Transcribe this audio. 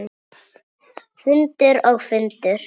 Fundur og fundur.